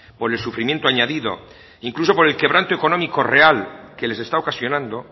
por el sufrimiento añadido incluso por el quebrando económico real que les está ocasionando